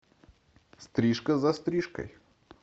стрижка за стрижкой